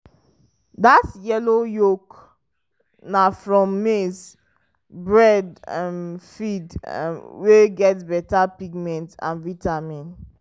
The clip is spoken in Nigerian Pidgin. that yellow yolk na from maize-breadd um feed um wey get better pigment and vitamin.